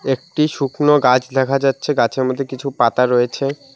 একটি শুকনো গাছ দেখা যাচ্ছে গাছের মধ্যে কিছু পাতা রয়েছে।